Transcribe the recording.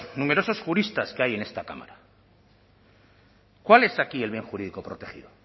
numerosos juristas que hay en esta cámara cuál es aquí el bien jurídico protegido